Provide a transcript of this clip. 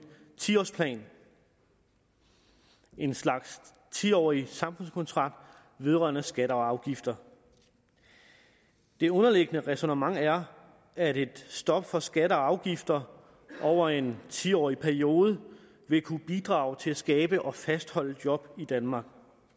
ti årsplan en slags ti årig samfundskontrakt vedrørende skatter og afgifter det underliggende ræsonnement er at et stop for skatter og afgifter over en ti årig periode vil kunne bidrage til at skabe og fastholde job i danmark